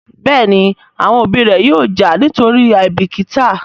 Béèni àwọn òbí ré yóò já nítorí àìbìkítà.